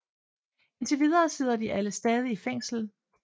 Indtil videre sidder de alle stadig i fængsel